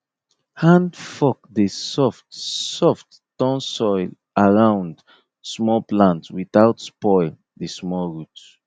hand fork dey soft soft turn soil around small plant without spoil the small root